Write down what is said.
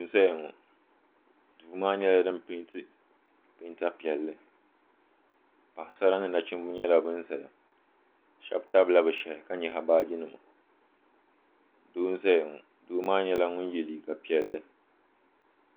Duu n zaya ŋɔ duu maa nyɛla fin penti penta piɛlli Paɣasara ni nachimba nyɛla ban zaya sheba tabila bɛ shehi ka nyaɣi baaji nima doo n zaya ŋɔ doo maa nyɛla ŋun ye liiga piɛlli.